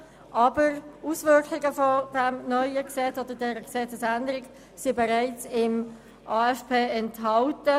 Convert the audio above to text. Die Auswirkungen dieser Gesetzesänderung sind bereits im AFP enthalten.